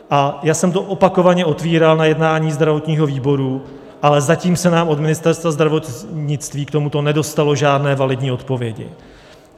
A já jsem to opakovaně otevíral na jednání zdravotního výboru, ale zatím se nám od Ministerstva zdravotnictví k tomuto nedostalo žádné validní odpovědi.